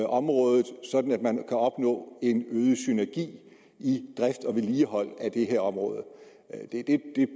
området sådan at man kan opnå en øget synergi i drift og vedligehold af det her område det